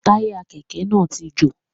Táyà Kẹ̀kẹ́ náà ti jò.